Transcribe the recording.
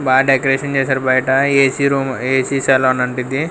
బాగా డెకరేషన్ చేశారు బయట ఏసీ రూము ఏసీ సలూన్ అంటిది.